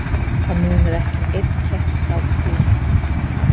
Það munar ekki um einn kepp í sláturtíðinni.